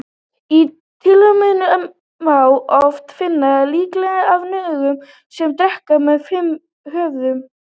Í taílenskum musterum má oft finna líkneski af nögu sem dreka með fimm höfuð.